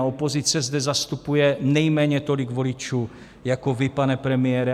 A opozice zde zastupuje nejméně tolik voličů jako vy, pane premiére.